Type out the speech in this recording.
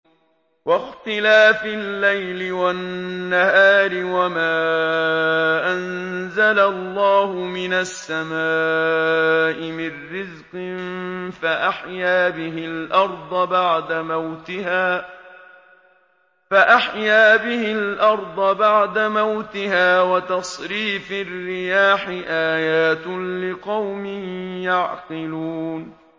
وَاخْتِلَافِ اللَّيْلِ وَالنَّهَارِ وَمَا أَنزَلَ اللَّهُ مِنَ السَّمَاءِ مِن رِّزْقٍ فَأَحْيَا بِهِ الْأَرْضَ بَعْدَ مَوْتِهَا وَتَصْرِيفِ الرِّيَاحِ آيَاتٌ لِّقَوْمٍ يَعْقِلُونَ